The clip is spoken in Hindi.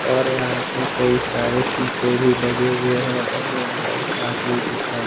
और यहां पे कई सारे शीशे भी लगे हुए हैं और यहां एक आदमी भी खड़ा--